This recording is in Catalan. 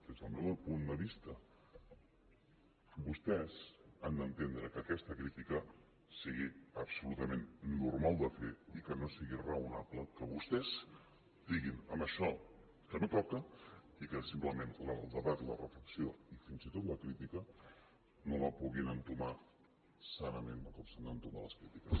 des del meu punt de vista vostès han d’entendre que aquesta crítica sigui absolutament normal de fer i que no sigui raonable que vostès diguin amb això que no toca i que simplement el debat la reflexió i fins i tot la crítica no els puguin entomar sanament com s’han d’entomar les crítiques